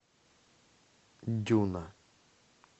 дюна